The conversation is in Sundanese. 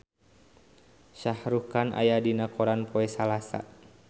Shah Rukh Khan aya dina koran poe Salasa